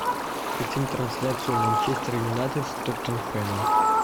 хотим трансляцию манчестер юнайтед с тоттенхэмом